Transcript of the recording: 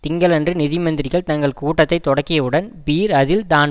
திங்களன்று நிதி மந்திரிகள் தங்கள் கூட்டத்தைத் தொடக்கியவுடன் பீர் அதில் தான்